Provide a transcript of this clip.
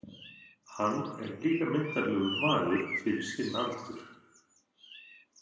Hann er líka myndarlegur maður fyrir sinn aldur.